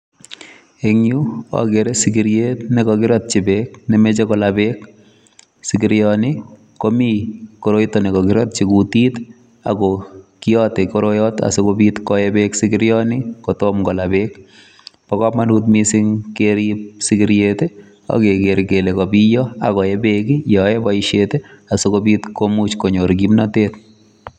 Eng Yuu agere sikiriet nekakiratyi beek memachei kolaal beek sikirian nii komii koroitaan nekakiratyii kutit ii ako kiate koroyataan asikobiit koyee beek sikirian nii kotomah kolaa beek bo kamanut missing keriib sikiriet ii ak keger kele kabiya ak koyee beek ii yaan yae boisiet ii asikobiit komuuch konyoor kimnatet.